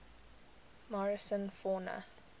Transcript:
morrison fauna